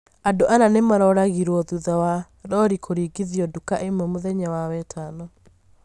andũ ana nĩmaroragirwo, thutha wa rori kũringithio nduka ĩmwe mũthenya wa wetano